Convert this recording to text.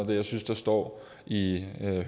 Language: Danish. det jeg synes der står i